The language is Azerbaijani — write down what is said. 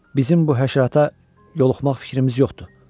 Bizim bu həşərata yoluxmaq fikrimiz yoxdur.